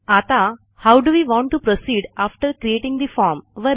आता how do we want to proceed after creating the form